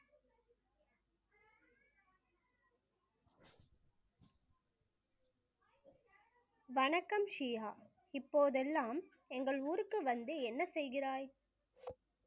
வணக்கம் இப்போதெல்லாம் எங்கள் ஊருக்கு வந்து என்ன செய்கிறாய்